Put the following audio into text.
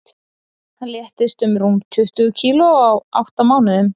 Hann léttist um rúm tuttugu kíló á átta mánuðum.